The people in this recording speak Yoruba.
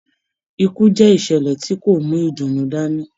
Ikú jẹ ìṣẹlẹ tí kò mú ìdùnnú dání.